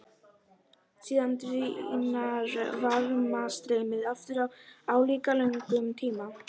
Síðan dvínar varmastreymið aftur á álíka löngum tíma.